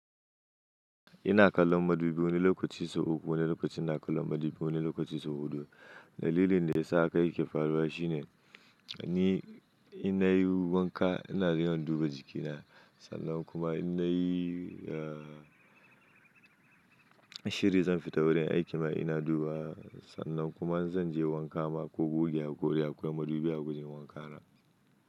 Ina kallon madubi, wani lokaci sau uku, wani lokacin na kallon madubi, wani lokaci sau huɗu. Dalilin da ya sa kai ke faruwa shine, ni ina yi wanka ina je in duba jikina sannan kuma in na yi, eh, shiri zan fita wurin aiki ma ina duba sannan kuma zan je wanka ma ko goge hakori akwai madubi a wurin wanka na.